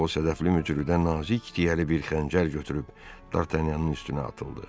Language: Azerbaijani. O hədəfli mücrüdən nazik tiyəli bir xəncər götürüb Dartanyanın üstünə atıldı.